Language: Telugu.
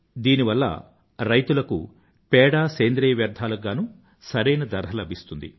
దీనివల్ల రైతులకు పేడ సేంద్రీయ వ్యర్థాలకు గానూ సరైన ధర లభిస్తుంది